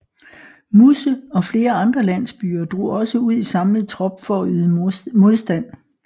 Musse og flere andre landsbyer drog også ud i samlet trop for at yde modstand